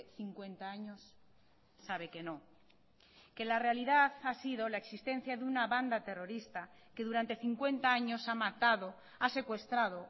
cincuenta años sabe que no que la realidad ha sido la existencia de una banda terrorista que durante cincuenta años ha matado ha secuestrado